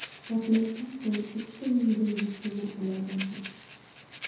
Portlashdan so‘ng uchta yengil mashina olov olgan.